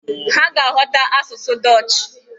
Ha ga-aghọta asụsụ dọọch.